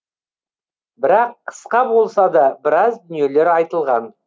бірақ қысқа болса да біраз дүниелер айтылған